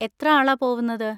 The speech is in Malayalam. എത്ര ആളാ പോവുന്നത്?